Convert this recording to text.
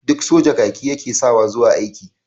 Duk soja kaki ya ke sawa zuwa aiki.